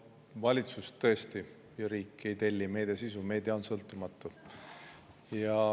Valitsus ja riik tõesti ei telli meediasisu, meedia on sõltumatu.